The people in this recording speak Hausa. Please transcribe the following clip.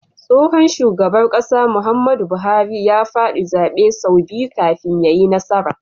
Tsohon shugaban ƙasar Muhammadu buhari a fadi zabe sau biyu kafin yayi nasara